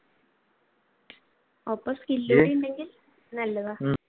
ഒപ്പം skill കൂടി ഉണ്ടെകിൽ നല്ലതാണ്.